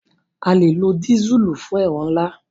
A lè lo dísùlù fún ẹ̀rọ ńlá.